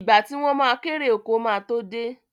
Ìgbà tí wọ́n ma kérè oko ma tó dé